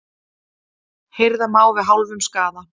Hirða má við hálfum skaða.